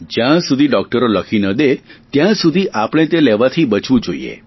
જ્યાં સુધી ડોકટરો લખી ન દે ત્યાં સુધી આપણે તે લેવાથી બચવું જોઈએ